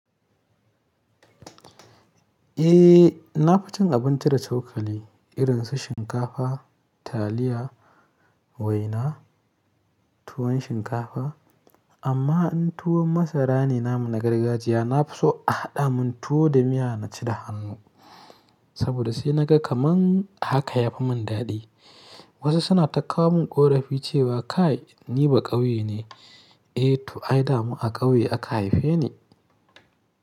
A na fi cin abinci da cokali irin su shinkafa, taliya, waina, tuwon shinkafa amma in tuwon masara ne na muna gargajiya na fi so a haɗa min tuwo da miya na ci da hannu saboda sai na ga kaman haka ya fi mun daɗi. Wa su suna ta kawo min ƙorafi cewa kai ni baƙauye ne, a to ai da ma a ƙauye aka haife ni.